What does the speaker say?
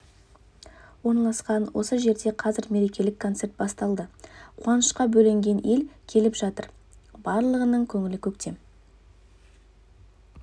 орналасқан осы жерде қазір мерекелік концерт басталды қуанышқа бөленген ел келіп жатыр барлығының көңілі көктем